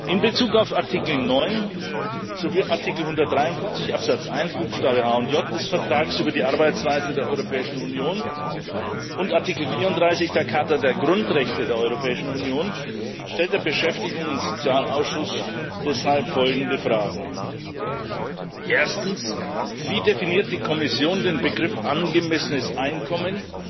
In Bezug auf Artikel 9 sowie Artikel 153 Absatz 1 Buchstaben h und j des Vertrags über die Arbeitsweise der Europäischen Union und Artikel 34 der Charta der Grundrechte der Europäischen Union stellte der Ausschuss für Beschäftigung und soziale Angelegenheiten deshalb folgende Fragen Erstens Wie definiert die Kommission den Begriff angemessenes Einkommen